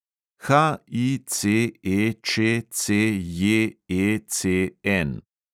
HICEČCJECN